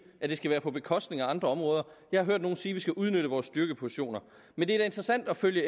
at det skal være på bekostning af andre områder jeg har hørt nogen sige at vi skal udnytte vores styrkepositioner men det er da interessant at følge